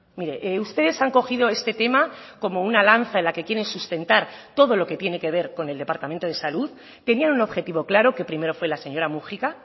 mire ustedes han cogido este tema como una lanza en la que quieren sustentar todo lo que tiene que ver con el departamento de salud tenían un objetivo claro que primero fue la señora múgica